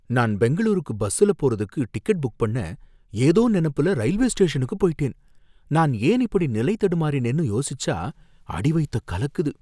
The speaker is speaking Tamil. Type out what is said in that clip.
நான் பெங்களூருக்கு பஸ்ல போறதுக்கு டிக்கெட் புக் பண்ண ஏதோ நெனப்புல ரயில்வே ஸ்டேஷனுக்கு போயிட்டேன். நான் ஏன் இப்படி நிலை தடுமாறினேன்னு யோசிச்சா அடி வயத்த கலக்குது.